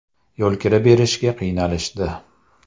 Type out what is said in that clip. Yo‘lkira berishga qiynalishdi.